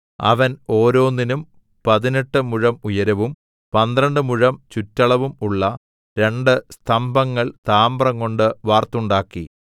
അവൻ ഓരോന്നിനും പതിനെട്ട് മുഴം ഉയരവും പന്ത്രണ്ട് മുഴം ചുറ്റളവും ഉള്ള രണ്ട് സ്തംഭങ്ങൾ താമ്രംകൊണ്ട് വാർത്തുണ്ടാക്കി